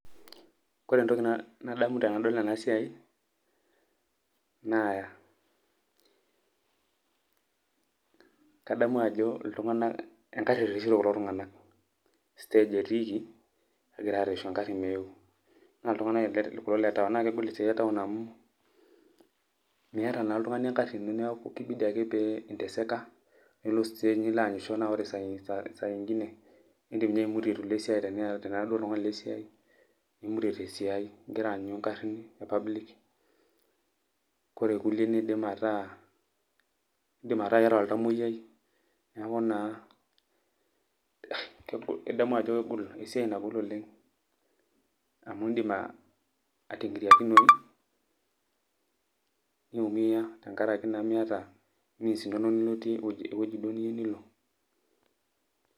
Kore entoki nadamu tenadol enasiai, naa kadamu ajo iltung'anak egarri erreshito kulo tung'anak. Stage etiiki, negira arrreshu egarri meeu. Na iltung'anak kulo le taon. Na kegol esiai etaon amu, miata naa oltung'ani egarri ino neeku kibidi ake pee inteseka, nilo stage niloanyisho na ore sainkine, idim inye aimutie itu ilo esiai tenira duo oltung'ani lesiai, nimutie tesiai igira aanyu garrin e public. Kore irkulie niidim ataa, idim ataa iyata oltamoyiai. Neeku naa, kegol, idamu ajo kegol esiai nagol oleng, amu idim ating'iriakinoyu, niumia tenkaraki naa miata means inono niloitie ewueji duo niyieu nilo.